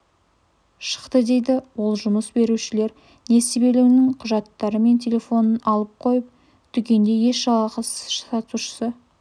шықты дейді ол жұмыс берушілер несібелінің құжаттары мен телефонын алып қойып дүкенде еш жалақысыз сатушы